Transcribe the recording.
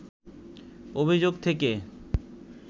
অভিযোগ থেকে